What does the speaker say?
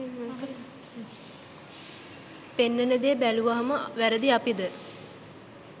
පෙන්නන දෙ බැලුවම වැරදි අපිද?